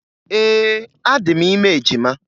Ee, adị m ime ejima.